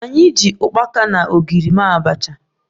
Anyị ji ukpaka na ogiri mee abacha